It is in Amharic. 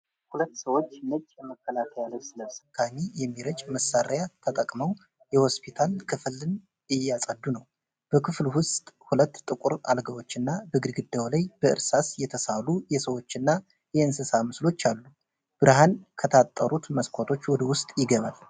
ሁለት ሰዎች ነጭ የመከላከያ ልብስ ለብሰው እና ተሸካሚ የሚረጭ መሳሪያ ተጠቅመው የሆስፒታል ክፍልን እያጸዱ ነው። በክፍሉ ውስጥ ሁለት ጥቁር አልጋዎች እና በግድግዳው ላይ በእርሳስ የተሳሉ የሰዎችና የእንስሳት ምስሎች አሉ። ብርሃን ከታጠሩት መስኮቶች ወደ ውስጥ ይገባል።